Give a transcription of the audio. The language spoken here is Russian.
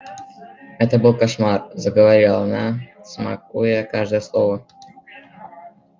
это был кошмар заговорила она смакуя каждое слово я умерла прямо здесь вот в этой кабинке